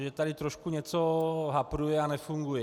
Mně tady trošku něco hapruje a nefunguje.